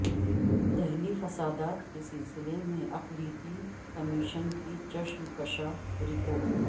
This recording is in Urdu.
دہلی فسادات کے سلسلے میں اقلیتی کمیشن کی چشم کشا رپورٹ